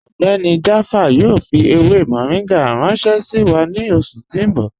Ọgbẹ́ni Jaafar yoo fi ewé moringa ranṣẹ̀ sí wa ni oṣù ti n bọ̀.